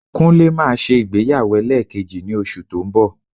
Kúnlé máa ṣe ìgbéyàwó ẹlẹ́ẹ̀kejì ní oṣù tó ń bọ̀